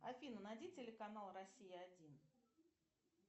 афина найди телеканал россия один